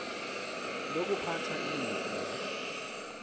lokuphatha ilifa la